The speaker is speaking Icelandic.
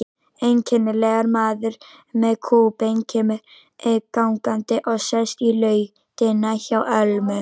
Einkennilegur maður með kúbein kemur gangandi og sest í lautina hjá Ölmu.